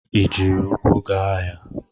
Ị jiri ukwu ga ahịa?